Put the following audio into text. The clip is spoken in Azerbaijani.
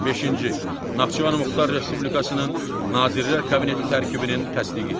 Beşinci Naxçıvan Muxtar Respublikasının Nazirlər Kabineti tərkibinin təsdiqi.